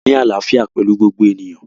A máa ní àlàfíà pẹlú gbogbo ènìyàn